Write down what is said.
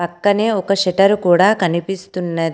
పక్కనే ఒక షటరు కూడా కనిపిస్తున్నది.